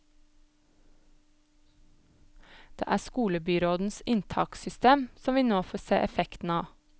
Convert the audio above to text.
Det er skolebyrådens inntakssystem som vi nå får se effekten av.